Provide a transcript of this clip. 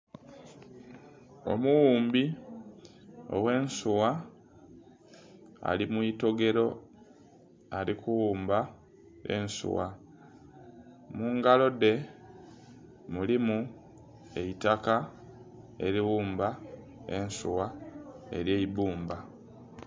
Omughumbi oghe nsuwa ali mwitogero ali kughumba ensuwa, mungalo dhe mulimu eitaka eri ghumba ensuwa elyeibbumba.